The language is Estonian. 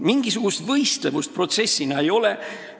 Mingisugust võistlevust protsessina ei ole.